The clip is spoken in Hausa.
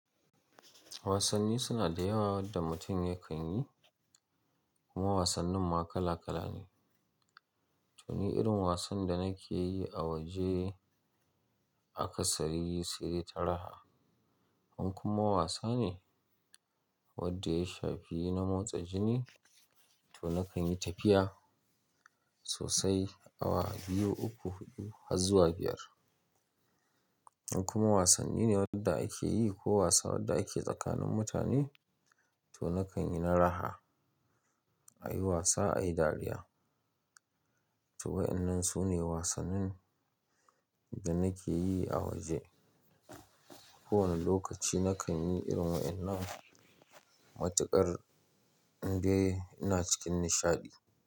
Wasanni suna da yawa wadda mutum yakan yi, kuma wasannin ma kala kala ne. To ni irin wasan da nake yi a waje aka tsari yi sirri ta raha. In kuma wasa ne wadda ya shafi na motsa jini to nakan yi tafiya sosai awa biyu, uku, hudu har zuwa biyar. In kuma wasanni ne wadda ake yi ko wasa wadda ake tsakanin mutane to nakan yi na raha, a yi wasa, a yi dariya. To wa'inan su ne wasannin da nake yi a waje. Kowane lokaci nakan yi irin wa'inan matuƙar indai ina cikin nishadi.